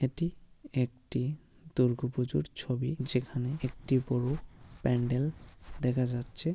এটি একটি দুর্গো পুজোর ছবি যেখানে একটি বড় প্যান্ডেল দেখা যাচ্ছে।